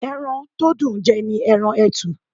Ẹran to dùn ń jẹ́ ni ẹran etu.